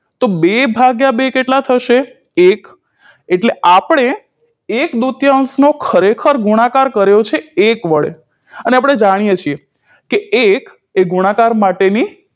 બે ભાગ્યા બે કેટલા થશે એક એટલે આપણે એક દૂતયાંશનો ખરેખર ગુણાકાર કર્યો છે એક વડે અને આપણે જાણીએ છીએ કે એક એ ગુણાકાર માટેની